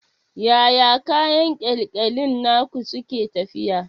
Yaya kayan ƙyalƙyalin naku suke tafiya?